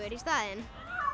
í staðinn